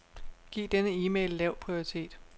Giv denne e-mail lav prioritet.